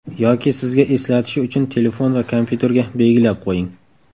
Yoki sizga eslatishi uchun telefon va kompyuterga belgilab qo‘ying.